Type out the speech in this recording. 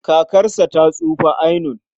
Kakarsa ta tsufa ainun.